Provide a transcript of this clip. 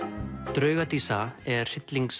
drauga dísa er